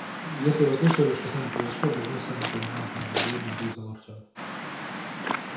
если вы слышали что с нами произошло должны сами понимать недружелюбно ответил артём